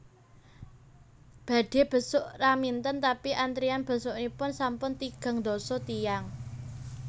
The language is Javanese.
Badhe besuk Raminten tapi antrian besukipun sampun tigang ndasa tiyang